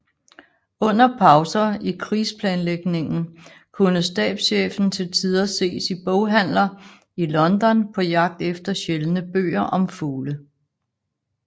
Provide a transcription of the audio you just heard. Under pauser i krigsplanlægningen kunne stabschefen til tider ses i boghandler i London på jagt efter sjældne bøger om fugle